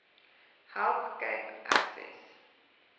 help cape access